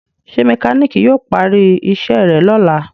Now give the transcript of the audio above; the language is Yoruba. ṣe mekaniki yíò pari iṣé rẹ lọla?